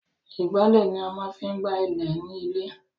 Ìgbálẹ̀ ni a máa ń fi ń gb ilẹ̀ nílé.